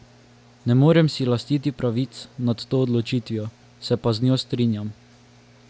Ne morem si lastiti pravic nad to odločitvijo, se pa z njo strinjam.